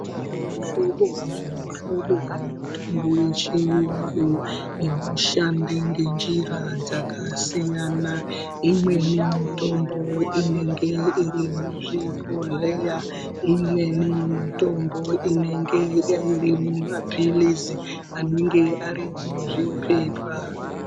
Kune muhlobo nemihlobo yemitombo yechiyungu inoshanda ngenjira dzakasiyana. Imweni yemitombo inenge iri muzvibhodhleya, imweni mitombo inenge ari maphilizi anenge ari muzvipepa.